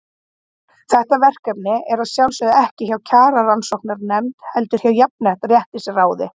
Þetta verkefni er að sjálfsögðu ekki hjá Kjararannsóknarnefnd, heldur hjá Jafnréttisráði.